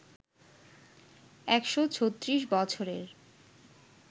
১৩৬ বছরের